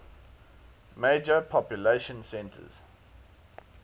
major population centers